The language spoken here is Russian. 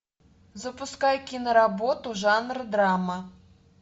запускай киноработу жанр драма